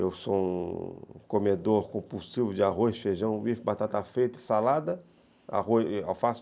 Eu sou um comedor compulsivo de arroz, feijão, bife, batata frita e salada, arroz alface e tomate.